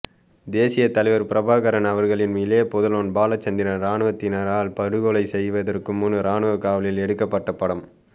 தேசிய தலைவர் பிரபாகரன் அவர்களின் இளைய புதல்வர் பாலச்சந்திரன் இராணுவத்தினரால் படுகொலை செய்வதற்கு முன் இராணுவ காவலில் எடுக்கப்பட்ட படம்